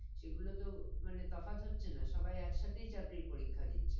সেগুলো তো মানে তফাৎ হচ্ছে না সবাই এক সাথেই চাকরির পরিক্ষা দিচ্ছে